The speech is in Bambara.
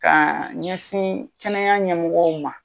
Ka ɲɛsin kɛnɛya ɲɛmɔgɔw ma.